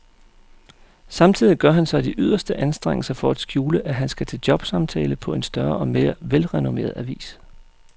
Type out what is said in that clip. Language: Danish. Samtidig gør han sig de yderste anstrengelser for at skjule, at han skal til jobsamtale på en større og mere velrenommeret avis.